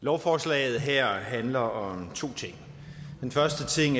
lovforslaget her handler om to ting den første ting